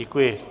Děkuji.